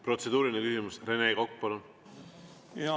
Protseduuriline küsimus, Rene Kokk, palun!